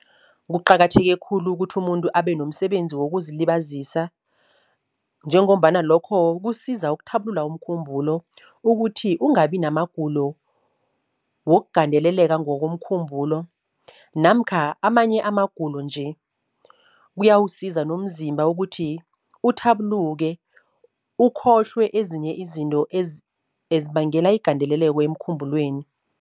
Kuqakatheke khulu ukuthi umuntu abenomsebenzi wokuzilibazisa, njengombana lokho kusiza ukuthabulula umkhumbulo ukuthi ungabi namagulo wokugandeleleka ngokomkhumbulo, namkha amanye amagulo nje. Kuyawusiza nomzimba ukuthi uthabuluke ukhohlwe ezinye izinto ezibangela igandeleleko emkhumbulweni.